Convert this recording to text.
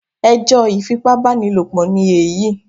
Ẹ jọ́ ifipábánilòpọ̀ ni èyí